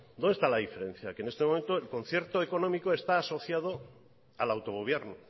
dónde está la diferencia que en este momento el concierto económico está asociado al autogobierno